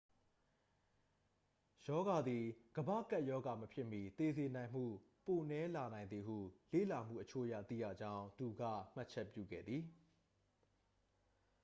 ရောဂါသည် ကမ္ဘာ့ကပ်ရောဂါ မဖြစ်မီ သေစေနိုင်မှု ပိုနည်းလာနိုင်သည်ဟု လေ့လာမှုအချို့အရ သိရကြောင်း သူက မှတ်ချက်ပြုခဲ့သည်